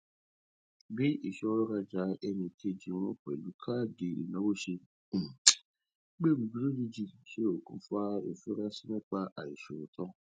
bí ìṣọwọ rajà ẹnìkejì wọn pẹlú káàdì ìnáwó ṣe um gbèrú lójijì ṣe okùnfà ìfurasí nípa àìṣòótọ